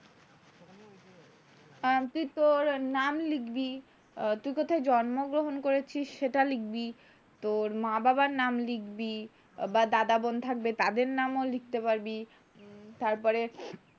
উম তুই তোর নাম লিখবি। তুই কোথায় জন্মগ্রহণ করেছিস সেটা লিখবি। তোর মা বাবার নাম লিখবি, বা দাদা বোন থাকবে তাদের নামও লিখতে পারবি, তারপরে,